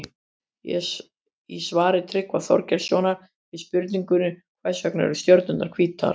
Í svari Tryggva Þorgeirssonar við spurningunni Hvers vegna eru stjörnurnar hvítar?